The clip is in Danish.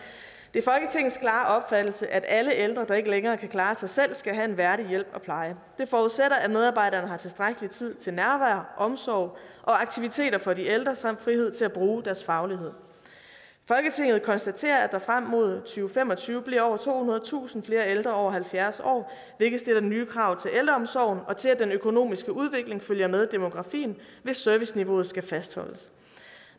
det er folketingets klare opfattelse at alle ældre der ikke længere kan klare sig selv skal have en værdig hjælp og pleje det forudsætter at medarbejderne har tilstrækkelig tid til nærvær omsorg og aktiviteter for de ældre samt frihed til at bruge deres faglighed folketinget konstaterer at der frem mod to fem og tyve bliver over tohundredetusind flere ældre over halvfjerds år hvilket stiller nye krav til ældreomsorgen og til at den økonomiske udvikling følger med demografien hvis serviceniveauet skal fastholdes